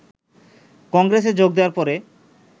কংগ্রেসে যোগ দেওয়ার পরে